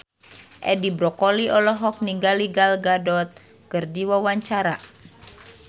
Edi Brokoli olohok ningali Gal Gadot keur diwawancara